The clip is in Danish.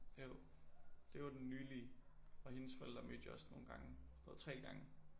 Jo. Det jo den nylige og hendes forældre mødte jeg også nogle gange. Sådan 3 gange